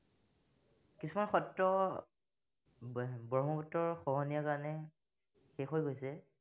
কিছুমান সত্ৰ ব্ৰ, ব্ৰহ্মপুত্ৰৰ খহনীয়া কাৰণে, শেষ হৈ গৈছে